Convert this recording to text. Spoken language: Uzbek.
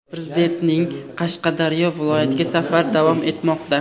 Prezidentning Qashqadaryo viloyatiga safari davom etmoqda.